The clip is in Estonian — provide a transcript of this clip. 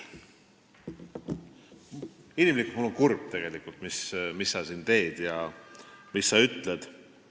Inimlikult võttes olen ma tegelikult kurb selle pärast, mis sa siin teed ja ütled.